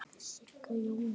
Sigga: Jú, mjög.